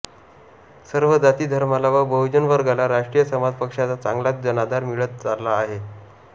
सर्व जाती धर्माला व बहुजन वर्गाला राष्ट्रीय समाज पक्षाचा चांगलाच जनाधार मिळत चालला आहे